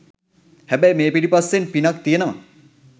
හැබැයි මේ පිටිපස්සෙන් පිනක් තියෙනවා